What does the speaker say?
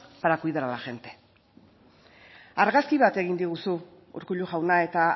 para cuidar a la gente argazki bat egin diguzu urkullu jauna eta